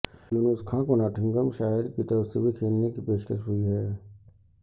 یونس خان کو Nottinghamshire کی طرف سے بھی کھیلنے کی پیشکش ہوئی ہے